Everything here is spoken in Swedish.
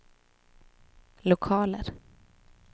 lokaler